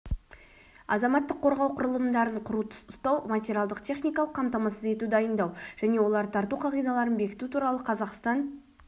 азаматтық қорғау құралымдарын құру ұстау материалдық-техникалық қамтамасыз ету дайындау және оларды тарту қағидаларын бекіту туралы қазақстан